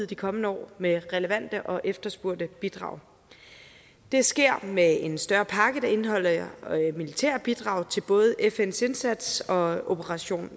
de kommende år med relevante og efterspurgte bidrag det sker med en større pakke der indeholder militære bidrag til både fns indsats og operation